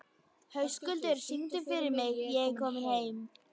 Höskuldur, syngdu fyrir mig „Ég er kominn heim“.